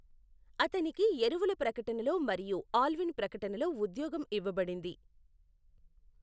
అతనికి ఎరువుల ప్రకటనలో మరియు ఆల్విన్ ప్రకటనలో ఉద్యోగం ఇవ్వబడింది.